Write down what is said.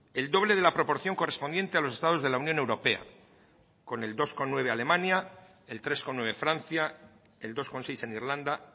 el doble de la proporción correspondiente a los estados de la unión europea con el dos coma nueve alemania el tres coma nueve francia el dos coma seis en irlanda